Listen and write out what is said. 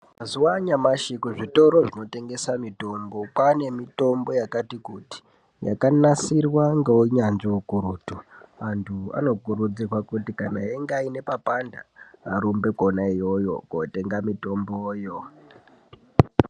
Mazuva anyamashi kuzvitoro zvinotengeswa mitombo kwane mitombo yakati kuti yakanasirwa ngeunyanzvi ukurutu yekuti vantu vanokurudzirwa kuti kana aine papanda ,arumbe kona iyoyo kotenga mitomboyo.